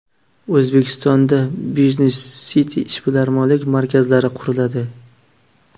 O‘zbekistonda Business City ishbilarmonlik markazlari quriladi.